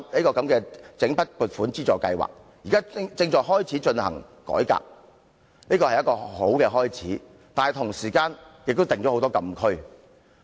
政府說整筆撥款津助制度現正進行改革，但同時設定了很多禁區。